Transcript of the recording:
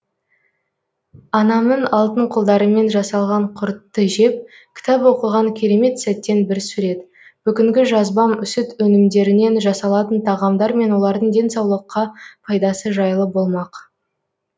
анамның алтын қолдарымен жасалған құртты жеп кітап оқыған керемет сәттен бір сурет бүгінгі жазбам сүт өнімдерінен жасалатын тағамдар мен олардың денсаулыққа пайдасы жайлы болмақ